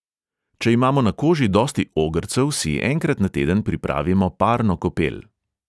Če imamo na koži dosti ogrcev, si enkrat na teden pripravimo parno kopel.